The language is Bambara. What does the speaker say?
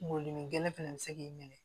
Kungolo dimi gɛlɛn fɛnɛ bɛ se k'i minɛ